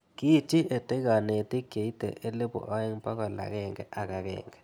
Kiitchi EdTech kanetik cheite elipu aeng' pokol ag'eng'e ak ag'eng'e